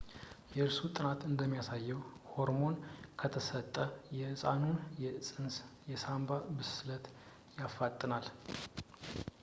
የእርሱ ጥናት እንደሚያሳየው ሆርሞን ከተሰጠ የሕፃኑን የፅንስ የሳንባ ብስለት ያፋጥናል